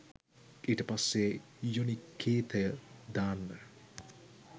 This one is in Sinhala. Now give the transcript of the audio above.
ඊට පස්සේ යුනිකේතය දාන්න